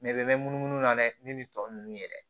Mɛ bɛɛ bɛ mɛn munumunu na dɛ min bɛ tɔ ninnu yɛrɛ